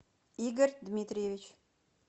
игорь дмитриевич